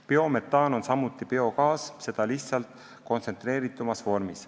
Biometaan on samuti biogaas, seda lihtsalt kontsentreeritumas vormis.